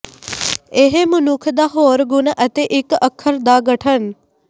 ਇਹ ਮਨੁੱਖ ਦਾ ਹੋਰ ਗੁਣ ਅਤੇ ਇੱਕ ਅੱਖਰ ਦਾ ਗਠਨ